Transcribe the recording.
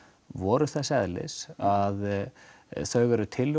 voru þess eðlis að þau eru tillögur